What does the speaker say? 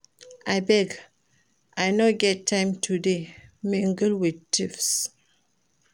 Abeg I no get time to dey mingle with thieves